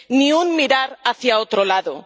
Ni un mirar hacia otro lado.